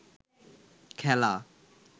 খেলা